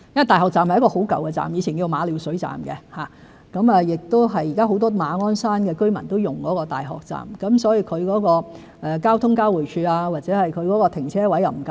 大學站是一個很舊的車站，前稱馬料水站，現時很多馬鞍山居民都使用大學站，其交通交匯處及停車位不足，不能做到停車後乘搭火車上班。